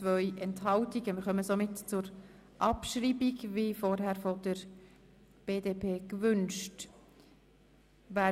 Wir kommen zur Abschreibung von Ziffer 3, wie es die BDP-Fraktion gewünscht hat.